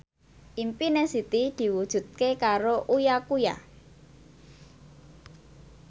impine Siti diwujudke karo Uya Kuya